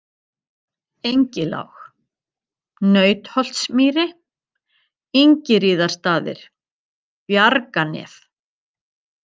Engilág, Nautholtsmýri, Ingiríðarstaðir, Bjarganef